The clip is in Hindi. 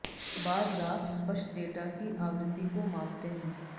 बार ग्राफ स्पष्ट डेटा की आवृत्ति को मापते हैं